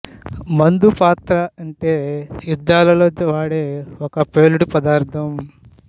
మందు పాతర అంటే యుద్ధాల్లో వాడే ఒక ప్రేలుడు పదార్థం